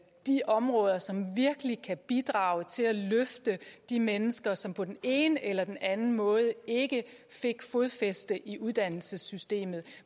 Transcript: de områder som virkelig kan bidrage til at løfte de mennesker som på den ene eller anden måde ikke fik fodfæste i uddannelsessystemet